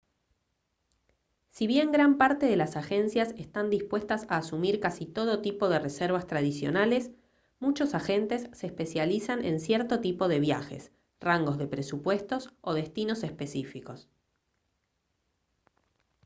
si bien gran parte de las agencias están dispuestas a asumir casi todo tipo de reservas tradicionales muchos agentes se especializan en cierto tipo de viajes rangos de presupuestos o destinos específicos